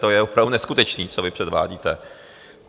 To je opravdu neskutečné, co vy předvádíte.